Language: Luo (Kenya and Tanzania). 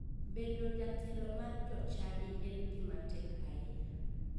Bedo jatelo mar jochadi en gima tek ahinya.